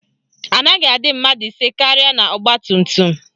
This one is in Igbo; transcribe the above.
Anaghị adị mmadụ ise karịa n'ọgbatumtum